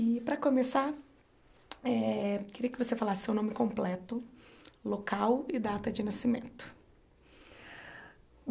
E, para começar eh, queria que você falasse seu nome completo, local e data de nascimento.